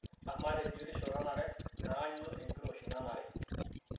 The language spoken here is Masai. Amaa tebiotisho nanare naa kainyoo enkiroshi naanare?